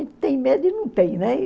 tem medo e não tem, né?